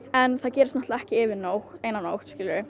en það gerist náttúrulega ekki yfir nótt